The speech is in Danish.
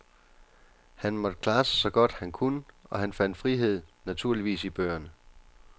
Han måtte klare sig så godt han kunne og han fandt frihed, naturligvis, i bøgerne.